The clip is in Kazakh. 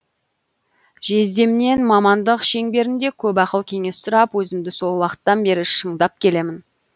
жездемнен мамандык шеңберінде көп ақыл кеңес сұрап өзімді сол уақыттан бері шыңдап келемін